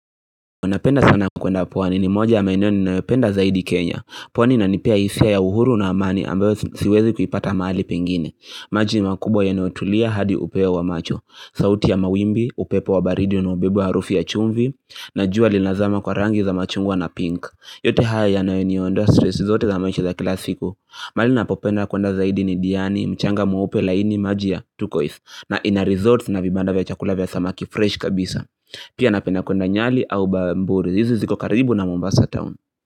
Napenda sana kuenda pwani ni moja maeneo ninayopenda zaidi Kenya pwani inanipea hisia ya uhuru na amani ambayo siwezi kuipata mahali pengine maji makubwa yanaotulia hadi upeo wa macho sauti ya mawimbi, upepo wa baridi unaobebwa harufi ya chumvi Najua linazama kwa rangi za machungwa na pink yote haya yananiondoa stress zote za maisha za kila siku mahali ninapopenda kuenda zaidi ni diani, mchanga mweupe laini maji ya turquoise na ina resort na vibanda vya chakula vya samaki fresh kabisa Pia napenda kuenda nyali au bamburi hizi ziko karibu na Mombasa town.